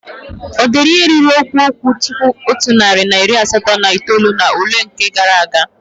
O deere ihe ruru mkpụrụ okwu dị otu narị na iri asatọ na itoolu n'ule nke gaara aga?